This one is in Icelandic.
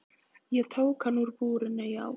Ég tók hann úr búrinu, já.